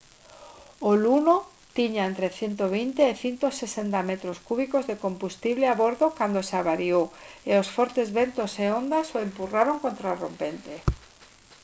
o luno tiña entre 120 e 160 metros cúbicos de combustible a bordo cando se avariou e os fortes ventos e ondas o empurraron contra a rompente